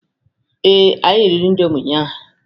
Ee, anyị riri indomi ụnyaahụ.